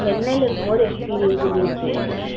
சென்னையில இருக்கிற போது experience இருந்துச்சு